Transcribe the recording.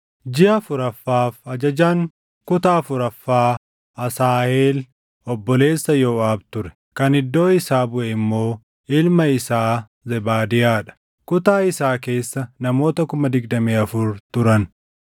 Jiʼa afuraffaaf ajajaan kuta afuraffaa Asaaheel obboleessa Yooʼaab ture; kan iddoo isaa buʼe immoo ilma isaa Zebaadiyaa dha. Kutaa isaa keessa namoota 24,000 turan.